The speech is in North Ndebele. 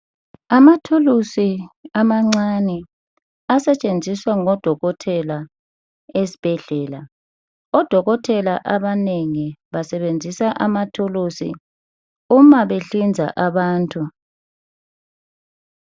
Amathulusi amancane asetshenziswa ngodokotela esibhedlela .Odokotela abanengi basebenzisa amathuluzi uma behlinza abantu